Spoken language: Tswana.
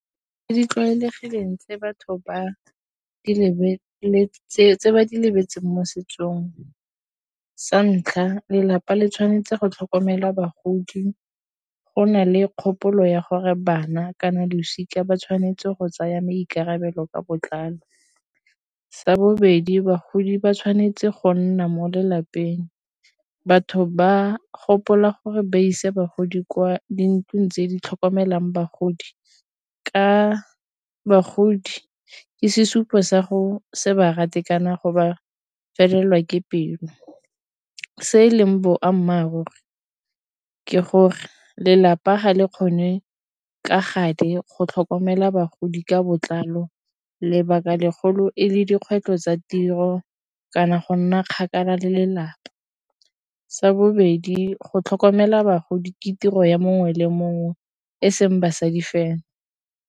Di tlwaelegileng tse batho ba di lebeletseng tse ba di lebeletseng mo setsong. Sa ntlha, lelapa le tshwanetse go tlhokomela bagodi. Go na le kgopolo ya gore bana kana losika ba tshwanetse go tsaya maikarabelo ka botlalo. Sa bobedi, bagodi ba tshwanetse go nna mo lelapeng. Batho ba gopola gore ba isa bagodi kwa dintlong tse di tlhokomelang bagodi ka bagodi ke sesupo sa go se ba rate kana go ba felelwa ke pelo. Se e leng boammaaruri ke gore lelapa ga le kgone ka gale go tlhokomela bagodi ka botlalo, lebaka legolo e le dikgwetlho tsa tiro kana go nna kgakala le lelapa. Sa bobedi go tlhokomela bagodi ke tiro ya mongwe le mongwe, e seng basadi fela.